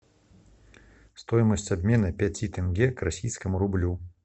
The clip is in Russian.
стоимость обмена пяти тенге к российскому рублю